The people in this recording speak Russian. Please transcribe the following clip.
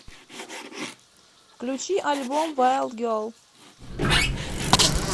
включи альбом вайлд герл